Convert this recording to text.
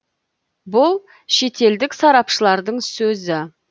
бұл шетелдік сарапшылардың сөзі